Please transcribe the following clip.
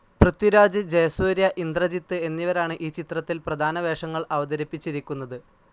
പൃഥ്വിരാജ്, ജയസൂര്യ, ഇന്ദ്രജിത്ത് എന്നിവരാണ് ഈ ചിത്രത്തിൽ പ്രധാനവേഷങ്ങൾ അവതരിപ്പിച്ചിരിക്കുന്നത്.